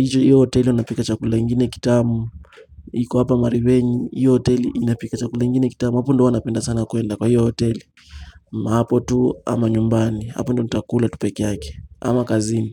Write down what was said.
hiyo hoteli unapika chakula ingine kitamu hiko hapa mariveni hiyo hoteli inapika chakula ingine kitamu hapo ndo wanapenda sana kwenda kwa hiyo hoteli Hapo tu ama nyumbani hapo ndo nitakula peke yake ama kazini.